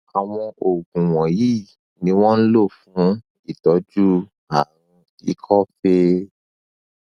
àwọn oògùn wọnyí ni wọn ń lò fún ìtọjú àrùn ikọ fée